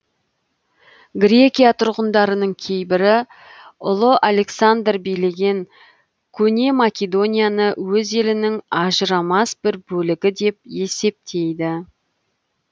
грекия тұрғындарының кейбірі ұлы александр билеген көне македонияны өз елінің ажырамас бір бөлігі деп есептейді